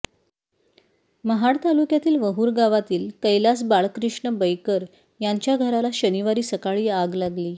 महाड तालुक्यातील वहूर गावातील कैलास बाळकृष्ण बैकर यांच्या घराला शनिवारी सकाळी आग लागली